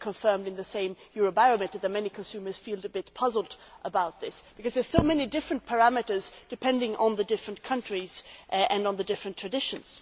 It is also confirmed in the same Eurobarometer survey that many consumers feel a bit puzzled about this because there are so many different parameters, depending on the different countries and on the different traditions.